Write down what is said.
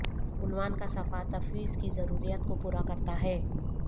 عنوان کا صفحہ تفویض کی ضروریات کو پورا کرتا ہے